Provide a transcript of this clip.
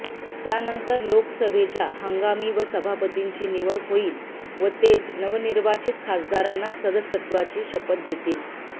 त्यानंतर लोकसभेच्या हंगामी सभापतींची निवड होईल व तेच नवनिर्वाचित खासदारांना सदस्यत्वाची शपथ देतील